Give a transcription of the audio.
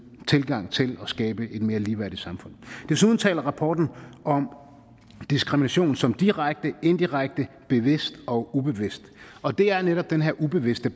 og tilgang til at skabe et mere ligeværdigt samfund desuden taler rapporten om diskrimination som direkte indirekte bevidst og ubevidst og det er netop den her ubevidste